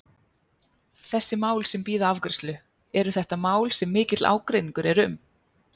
Þessi mál sem bíða afgreiðslu, eru þetta mál sem mikill ágreiningur er um?